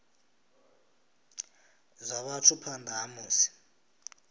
zwa vhathu phanḓa ha musi